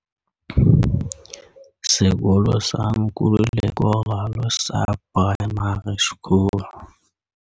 Sekolo sa Nkululeko Ralo sa Primary School